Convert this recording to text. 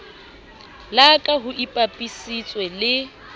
la ka ho ipapisitswe le